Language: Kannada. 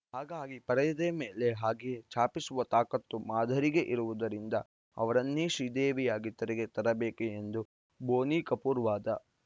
ಹಾಗಾಗಿ ಪರದೆಯ ಮೇಲೆ ಹಾಗೆಯೇ ಛಾಪಿಸುವ ತಾಕತ್ತು ಮಾಧುರಿಗೆ ಇರುವುದರಿಂದ ಅವರನ್ನೇ ಶ್ರೀದೇವಿಯಾಗಿ ತೆರೆಗೆ ತರಬೇಕು ಎಂಬುದು ಬೋನಿ ಕಪೂರ್‌ ವಾದ